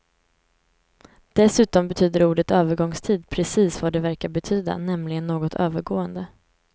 Dessutom betyder ordet övergångstid precis vad det verkar betyda, nämligen något övergående.